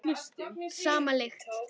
Sama lykt.